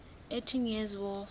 eighty years war